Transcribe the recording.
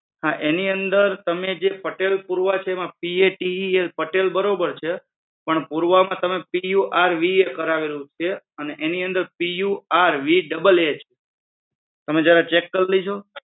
એની અંદર તમે જે પટેલ પૂર્વા છે એમાં PATEL પટેલ બરોબર છે? પણ પૂર્વાની અંદર PORVA કારવેલું છે આની અંદર purvaa તમે ચેક કરી લેજો